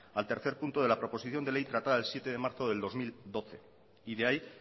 al tercer punto de la proposición de ley tratada el siete de marzo del dos mil doce y de ahí